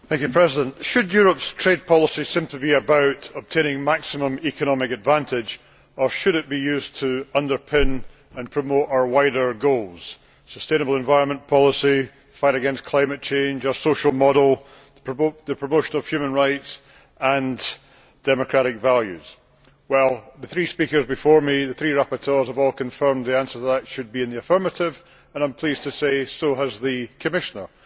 Mr President, should Europe's trade policy simply be about obtaining maximum economic advantage, or should it be used to underpin and promote our wider goals sustainable environment policy, fight against climate change, our social model, the promotion of human rights and democratic values? The three speakers before me the three rapporteurs have all confirmed that the answer to that should be in the affirmative and, I am pleased to say, so has the Commissioner.